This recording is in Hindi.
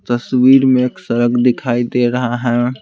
तस्वीर में एक सड़क दिखाई दे रहा है।